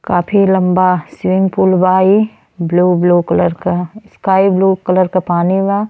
काफी लम्बा swimming pool बा ई। ब्लू ब्लू कलर क स्काई ब्लू कलर के पानी बा।